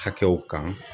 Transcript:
Hakɛw kan